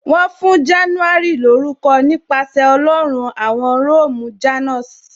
Wọn fún January lórúko nípasẹ̀ Ọlọ́run awon Róòmù "Janus "